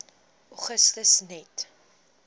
augustus net